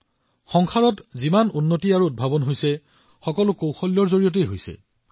এক প্ৰকাৰে বিশ্বত যিমান বিকাশ আৰু উদ্ভাৱন হৈছে এই সকলোবোৰ দক্ষতাৰ ফলত হৈছে আৰু এয়াই তেওঁৰ প্ৰতীক